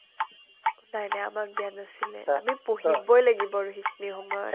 নাই নাই আমাক দিয়া নাছিলে আমি পঢ়িবয়ে লাগিব আৰু সেইখিনি সময়ত